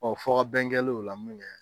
fɔkabɛn kɛlen o la min kɛ